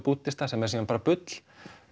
búddista sem er síðan bara bull